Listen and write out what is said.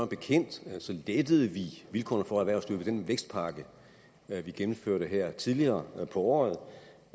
bekendt lettede vi vilkårene for erhvervslivet med den vækstpakke vi gennemførte her tidligere på året